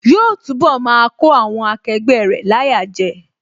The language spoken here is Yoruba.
Yóò túnbọ̀ máa kó àwọn akẹgbẹ́ rẹ̀ láyà jẹ